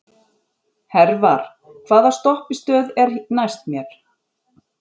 Hervar, hvaða stoppistöð er næst mér?